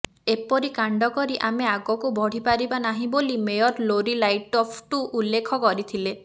ଏପରି କାଣ୍ଡ କରି ଆମେ ଆଗକୁ ବଢିପାରିବା ନାହିଁ ବୋଲି ମେୟର ଲୋରୀ ଲାଇଟ୍ଫୁଟ ଉଲ୍ଲେଖ କରିଥିଲେ